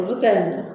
Olu kɛlen